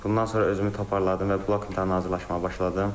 Bundan sonra özümü toparladım və blok imtahana hazırlaşmağa başladım.